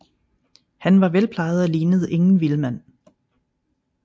Han var velplejet og lignede ingen vildmand